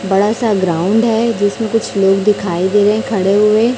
बड़ासा ग्राउंड है जिसमें कुछ लोग दिखाई दे रहे हैं खड़े हुए।